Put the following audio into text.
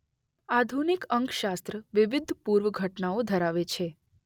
આધુનિક અંકશાસ્ત્ર વિવધ પૂર્વ ઘટનાઓ ધરાવે છે.